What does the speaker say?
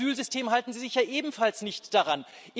Im Asylsystem halten Sie sich ja ebenfalls nicht daran.